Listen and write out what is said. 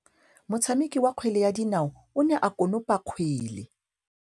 Motshameki wa kgwele ya dinaô o ne a konopa kgwele.